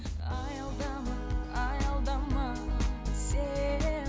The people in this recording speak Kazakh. аялдама аялдама сен